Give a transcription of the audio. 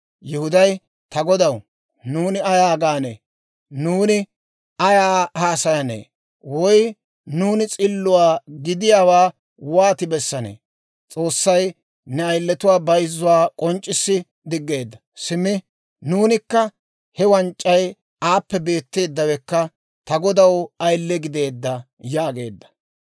Yihuday, «Ta godaw nuuni ayaa gaanee? Nuuni ayaa haasayanee? Woy nuuni s'illuwaa gidiyaawaa wooti bessanee? S'oossay ne ayiletuwaa bayzzuwaa k'onc'c'issi diggeedda. Simmi nuunikka he wanc'c'ay aappe beetteeddawekka ta godaw ayile gideedda» yaageedda.